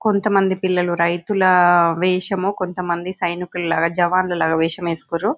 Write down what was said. కొంతమంది పిల్లలు రైతుల వేషము కొంతమంది సైనికులగా జవాన్లు లాగా వేషం వేసుకుర్రు.